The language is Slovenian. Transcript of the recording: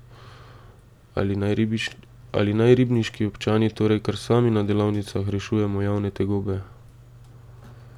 Ali naj ribniški občani torej kar sami na delavnicah rešujemo javne tegobe?